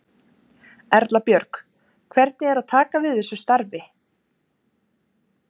Erla Björg: Hvernig er að taka við þessu starfi?